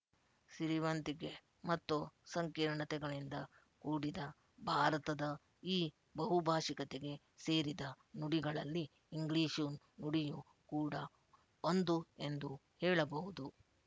ಸಿರಿವಂತಿಕೆ ಮತ್ತು ಸಂಕೀರ್ಣತೆಗಳಿಂದ ಕೂಡಿದ ಭಾರತದ ಈ ಬಹುಭಾಶಿಕತೆಗೆ ಸೇರಿದ ನುಡಿಗಳಲ್ಲಿ ಇಂಗ್ಲಿಶು ನುಡಿಯು ಕೂಡ ಒಂದು ಎಂದು ಹೇಳಬಹುದು